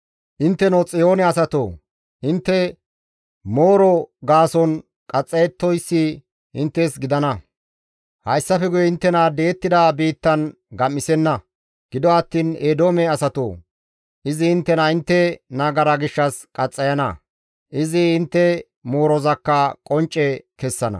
Intteno Xiyoone asatoo! Intte mooro gaason qaxxayettoyssi inttes gidana; hayssafe guye inttena di7ettida biittan gam7isenna; gido attiin Eedoome asatoo! Izi inttena intte nagara gishshas qaxxayana; izi intte moorozakka qoncce kessana.